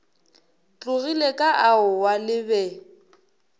tlogile ka aowa le be